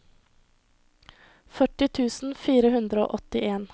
førti tusen fire hundre og åttien